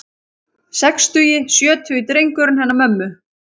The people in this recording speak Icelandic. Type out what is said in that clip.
Sextugi, sjötugi drengurinn hennar mömmu.